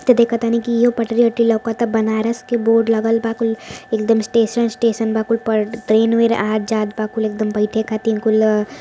तो देखत आनी की इहो पटरी वटरी लउकत आ बनारस के बोर्ड लागल बा कुल एक दम स्टेशन स्टेशन बा कुल प ट्रेन वेर आत जात बा कुल एक दम बइठे खातिर कुल।